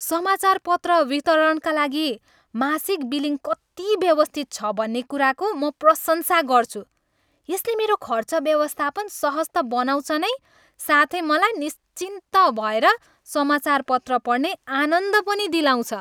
समाचारपत्र वितरणका लागि मासिक बिलिङ कति व्यवस्थित छ भन्ने कुराको म प्रशंसा गर्छु। यसले मेरो खर्च व्यवस्थापन सहज त बनाउँछ नै साथै मलाई निश्चिन्त भएर समाचारपत्र पढ्ने आनन्द पनि दिलाउँछ।